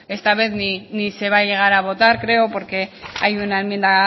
esta vez ni se va llegar a votar creo porque hay una enmienda